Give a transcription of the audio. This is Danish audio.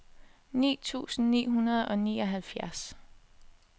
ni tusind ni hundrede og nioghalvfjerds